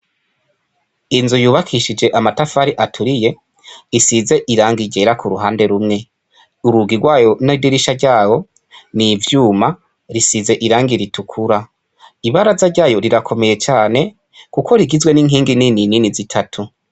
Inzu yubakishije amatafari aturiye isize ibara ryera kuruhande rumwe, urugi rwayo n'idirisha ryayo n'ivyuma bisize irangi ritukura, ibaraza ryayo rirakomeye cane kuko rigizwe n'inkingi nini nini zitatu.